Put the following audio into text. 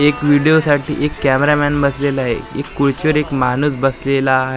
एक व्हिडिओ साठी एक कॅमेरामॅन बसलेला आहे खुर्चीवर एक माणूस बसलेला आहे .